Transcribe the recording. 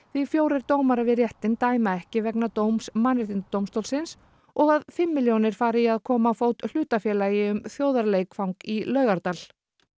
því fjórir dómarar við réttinn dæma ekki vegna dóms Mannréttindadómstólsins og að fimm milljónir fara í að koma á fót hlutafélagi um þjóðarleikvang í Laugardal